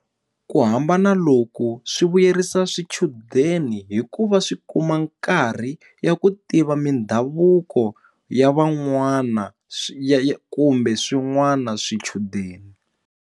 Ku hambana loku swi vuyerisa swichudeni hikuva swi kuma nkarhi ya ku tiva mindhavuko ya van'wana swi ya kumbe swin'wana swichudeni.